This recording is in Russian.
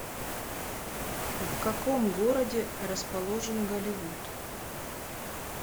в каком городе расположен голливуд